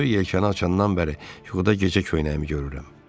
Böyük yelkanı açandan bəri yuxuda gecə köynəyimi görürəm.